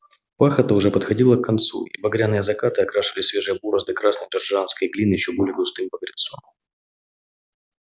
пахота уже подходила к концу и багряные закаты окрашивали свежие борозды красной джорджианской глины ещё более густым багрецом